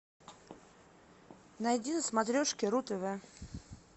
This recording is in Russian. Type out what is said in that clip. найди на смотрешке ру тв